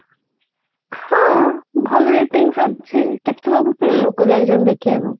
ହଁ ଭଲ ratings ଅଛି କେତେ ସବୁ full ଲୋକ ଯାଉଛନ୍ତି ଦେଖିବାକୁ